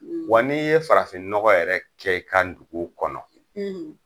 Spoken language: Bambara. Wa ni ye farafinnɔgɔ yɛrɛ kɛ i ka dugu kɔnɔ